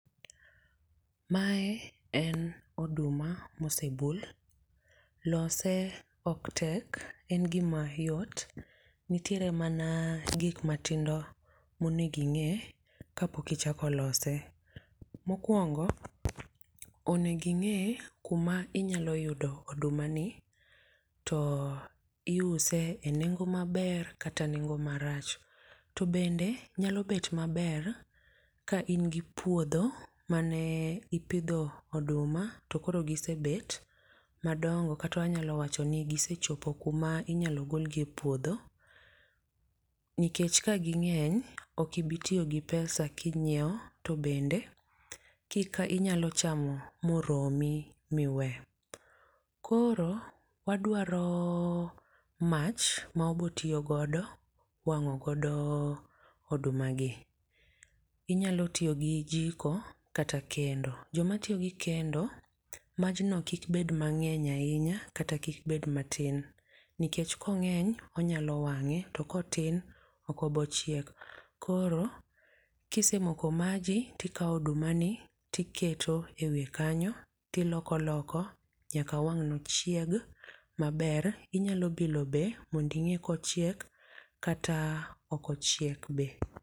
mae en oduma mosebul lose ok tek en gima yot, nitiere mana gik matindo mosego ing'e kapok ichako lose ,mokuong'o ing'e kama inyalo yudo oduma ni to iuse e neng'o mbaer kata neng'o marach, to bende nyalo bet maber ka in gi puodho mane ipidho oduma to koro gisebet madong'o kata wanyalo wacho ni kisechopo kuma inyalo golie puodho, nikech ka ging'eny ok ibi tiyi gi pesa king'iewo to bende kik inyalo chamo moromi miwe ,koro wadwaro mach mawabo tiyo godo wang'o godo oduma gi ,inyalo tiyo gi jiko kata kendo, joma tiyo gi kendo majno kik bed mang'eny ahinya kata kik bed matin, nikech kong'eny onyalo wange to kotin oko bochiek ,koro kisemoko maji tikawo oduma ni tiketo ewiye kanyo tiloko loko nyaka wang' no chieg maber, inyalo bilo be mondi ng'e kochiek kata ok ochek be